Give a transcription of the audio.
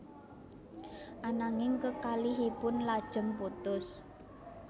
Ananging kekalihipun lajeng putus